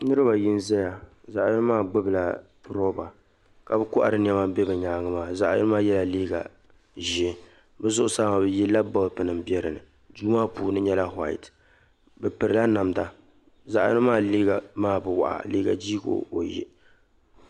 Niriba ayi n-zaya zaɣ'yino maa gbubi la "rubber" ka bɛ kohiri nyɛma n be bɛ nyaaŋa maa zaɣ'yino maa yɛla liiga Ʒee bɛ zuɣusaa maa bɛ yilla bolpunima m-be dinni duu maa puuni nyɛla "white" bɛ pirila namda zaɣ'yino maa liiga maa bɛ waɣa liiga jii ka o yɛ